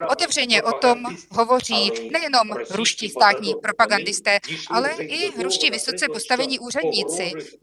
Otevřeně o tom hovoří nejenom ruští státní propagandisté, ale i ruští vysoce postavení úředníci.